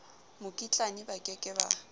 mokitlane ba ke ke ba